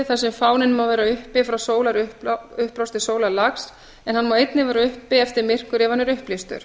sem fáninn má vera uppi frá sólarupprás til sólarlags en hann má einnig vera uppi eftir myrkur ef hann er upplýstur